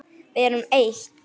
Við erum eitt.